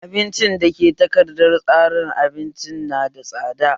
Abinci dake takardar tsarin abincin nada tsada